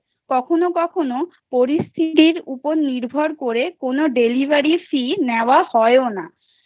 কখনো কখনো পরিস্থিতর উপর নির্ভর করে কোন delivery fee নেওয়া হয় না